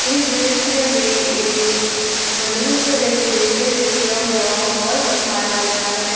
इस दृश्य में एक बैलून से डेकोरेशन किया हुआ हाल दिखाया गया है।